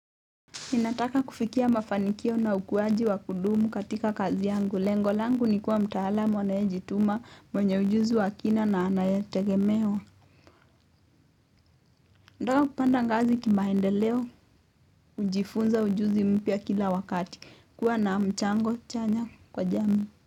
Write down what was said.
Ninataka kufikia mafanikio na ukuaji wa kudumu katika kazi yangu. Lengo langu ni kuwa mtaalamu anayejituma, mwenye ujuzi wa kina na anayetegemewa. Nataka kupanda ngazi kimaendeleo. Kujifunza ujuzi mpya kila wakati. Kuwa na mchango chanya kwa jamii.